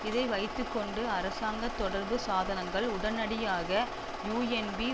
இதை வைத்து கொண்டு அரசாங்க தொடர்பு சாதனங்கள் உடனடியாக யூஎன்பி